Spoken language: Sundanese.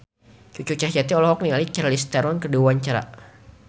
Cucu Cahyati olohok ningali Charlize Theron keur diwawancara